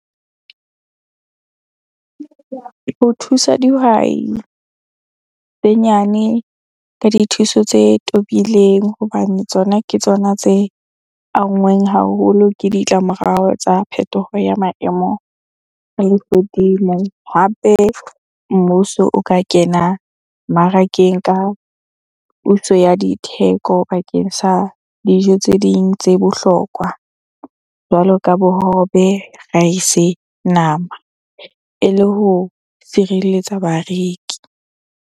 Ho thusa dihwai tse nyane ka dithuso tse tobileng hobane tsona ke tsona tse anngweng haholo ke ditlamorao tsa phetoho ya maemo a lehodimo. Hape, mmuso o ka kena mmarakeng ka puso ya ditheko bakeng sa dijo tse ding tse bohlokwa. Jwalo ka bohobe, rice, nama ele ho sireletsa bareki.